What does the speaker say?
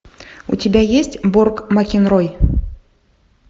у тебя есть борк макенрой